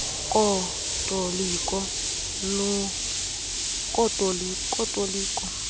kotoliko lokuvula nelokuvala